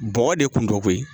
Bɔgɔ de kun dɔ koyi